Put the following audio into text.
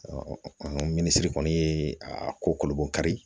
minisiri kɔni ye a ko kolo bɔkari